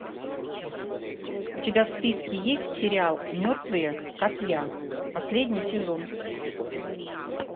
у тебя в списке есть сериал мертвые как я последний сезон